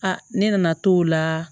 ne nana to la